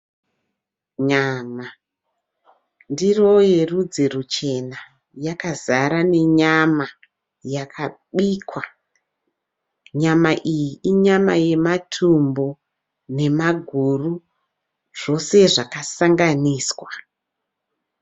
Nyama, ndiro rerudzi ruchena yakazara nenyama yakabikwa, nyama iyi inyama yematumbu nemaguru zvese zvakasanganiswa.